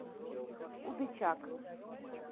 удычак